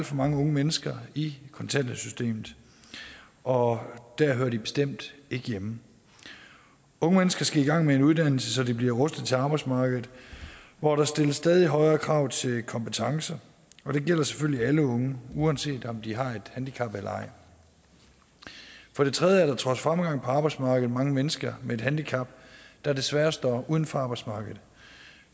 for mange unge mennesker i kontanthjælpssystemet og der hører de bestemt ikke hjemme unge mennesker skal i gang med en uddannelse så de bliver rustet til arbejdsmarkedet hvor der stilles stadig højere krav til kompetencer og det gælder selvfølgelig alle unge uanset om de har et handicap eller ej for det tredje er der trods fremgang på arbejdsmarkedet mange mennesker med et handicap der desværre står uden for arbejdsmarkedet